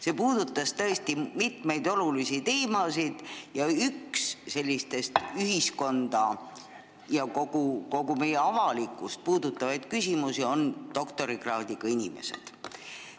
See puudutas tõesti mitmeid olulisi teemasid ning üks selliseid ühiskonda ja kogu avalikkust puudutavaid küsimusi on doktorikraadiga inimesed.